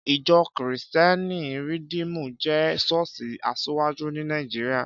Ìjọ́ kìrìsítẹ́nì Rìdímù jẹ́ ṣọ́ọ̀ṣì asiwaju ní Nàìjíríà